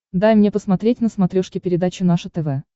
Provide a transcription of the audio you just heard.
дай мне посмотреть на смотрешке передачу наше тв